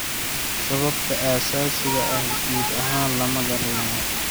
Sababta asaasiga ah guud ahaan lama garanayo.